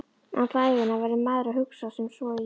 Alla ævina verður maður að hugsa sem svo: Í